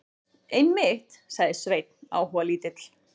Einmitt, sagði Sveinn áhugalítill.